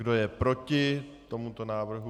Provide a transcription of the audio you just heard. Kdo je proti tomuto návrhu?